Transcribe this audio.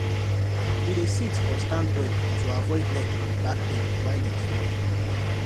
e dey sit or stand well to avoid neck and back pain while e dey work